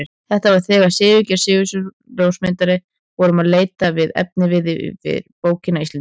Þetta var þegar við Sigurgeir Sigurjónsson ljósmyndari vorum að leita að efniviði fyrir bókina Íslendingar.